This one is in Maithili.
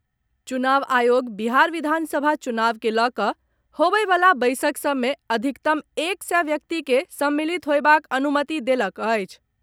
चुनाव आयोग बिहार विधानसभा चुनाव के लऽ कऽ होबयवला बैसक सभ मे अधिकतम एक सय व्यक्ति के सम्मिलित होयबाक अनुमति देलक अछि।